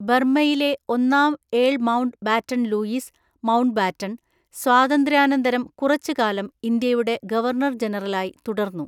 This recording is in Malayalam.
ബർമ്മയിലെ ഒന്നാം earl Mountbatten Louis Mountbatten, സ്വാതന്ത്ര്യാനന്തരം കുറച്ചുകാലം ഇന്ത്യയുടെ ഗവർണർ ജനറലായി തുടർന്നു.